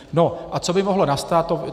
No a co by mohlo nastat?